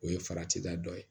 O ye farati da dɔ ye